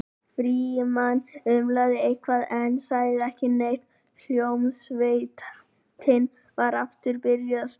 Frímann umlaði eitthvað en sagði ekki neitt og hljómsveitin var aftur byrjuð að spila.